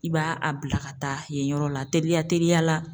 I b'a a bila ka taa yen yɔrɔ la teliya teliya la